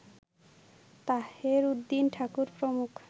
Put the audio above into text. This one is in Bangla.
তাহের উদ্দিন ঠাকুর প্রমুখ